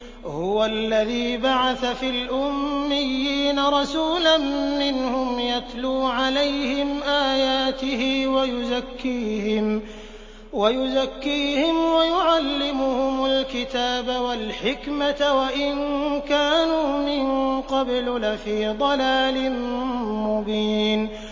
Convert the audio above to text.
هُوَ الَّذِي بَعَثَ فِي الْأُمِّيِّينَ رَسُولًا مِّنْهُمْ يَتْلُو عَلَيْهِمْ آيَاتِهِ وَيُزَكِّيهِمْ وَيُعَلِّمُهُمُ الْكِتَابَ وَالْحِكْمَةَ وَإِن كَانُوا مِن قَبْلُ لَفِي ضَلَالٍ مُّبِينٍ